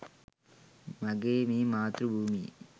මගේ මේ මාතෘ භූමියේ